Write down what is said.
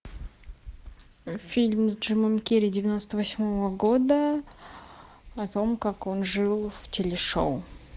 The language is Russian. фильм с джимом керри девяносто восьмого года о том как он жил в телешоу